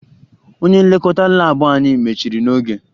Onye nlekọta laabụ anyị mechiri n'oge